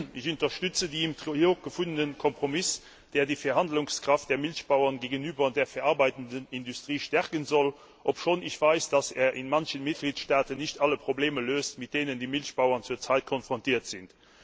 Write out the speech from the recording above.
Ich unterstütze den im Trilog gefundenen Kompromiss, der die Verhandlungskraft der Milchbauern gegenüber der verarbeitenden Industrie stärken soll, obschon ich weiß, dass er in manchen Mitgliedstaaten nicht alle Probleme löst, mit denen die Milchbauern zurzeit konfrontiert sind.